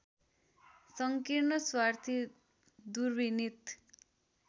संकीर्ण स्वार्थी दुर्विनीत